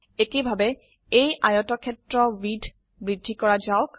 একেভাবে এই আয়তক্ষেত্ৰ উইডথ বৃদ্ধি কৰা যাওক